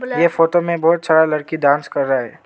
ये फोटो में बहुत सारा लड़की डांस कर रहा है।